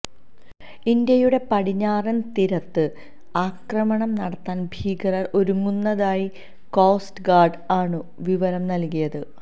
ഇന്ത്യയുടെ പടിഞ്ഞാറൻ തീരത്ത് ആക്രമണം നടത്താൻ ഭീകരർ ഒരുങ്ങുന്നതായി കോസ്റ്റ് ഗാർഡ് ആണു വിവരം നൽകിയത്